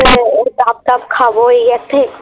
ডাব টাব খাবো এই